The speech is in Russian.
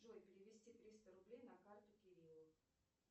джой перевести триста рублей на карту кириллу